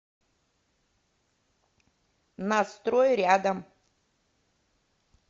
на строй рядом